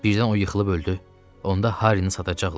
Birdən o yıxılıb öldü, onda Harini satacaqlar.